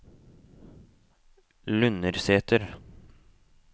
Lundersæter